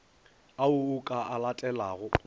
ao o ka a letelago